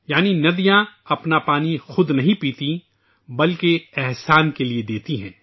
یعنی ندیاں اپنا پانی خود نہیں پیتیں ، بلکہ عطیہ دیتی ہیں